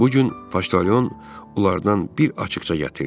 Bu gün paştaon onlardan bir açıqca gətirdi.